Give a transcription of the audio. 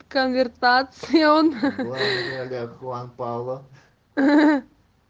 конвертация он